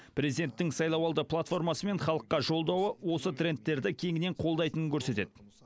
президенттің сайлауалды платформасы мен халыққа жолдауы осы трендтерді кеңінен қолдайтынын көрсетеді